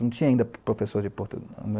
Não tinha ainda professor de portu...